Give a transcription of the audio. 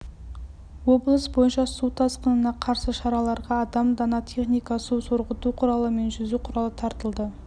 облыс бойынша су тасқынына қарсы шараларға адам дана техника су сорғыту құралы мен жүзу құралы тартылды